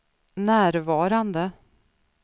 närvarande